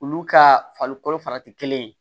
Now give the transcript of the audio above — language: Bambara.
Olu ka farikolo farati kelen yen